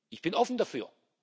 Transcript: Ich bin offen dafür.